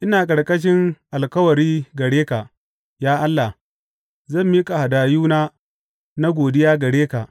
Ina ƙarƙashin alkawari gare ka, ya Allah; zan miƙa hadayuna na godiya gare ka.